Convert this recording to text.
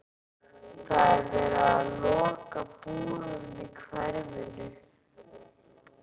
Það er verið að loka búðunum í hverfinu.